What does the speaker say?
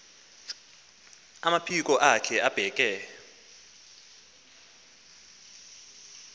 amaphiko akhe abeke